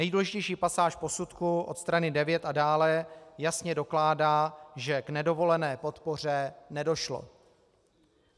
Nejdůležitější pasáž posudku od strany 9 a dále jasně dokládá, že k nedovolené podpoře nedošlo.